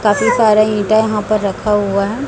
काफी सारा ईंटा यहां पर रखा हुआ है।